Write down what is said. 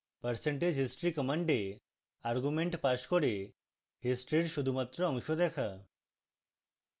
percentage history command argument pass করে history শুধুমাত্র অংশ দেখা